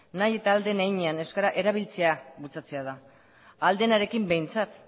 nahi eta ahal den heinean euskara erabiltzea bultzatzea da ahal denarekin behintzat